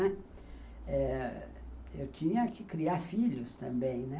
Eh, eu tinha que criar filhos também, né.